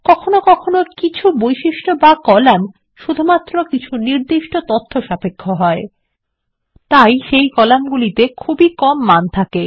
কখনও কখনও কিছু বৈশিষ্ট্য বা কলাম শুধুমাত্র কিছু নির্দিষ্ট তথ্য সাপেক্ষ হয় তাই সেই কলামগুলি খুব কমই মান থাকে